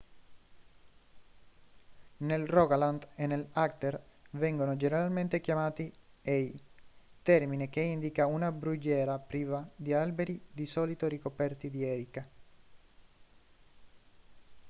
nel rogaland e nell'agder vengono generalmente chiamati hei termine che indica una brughiera priva di alberi di solito ricoperta di erica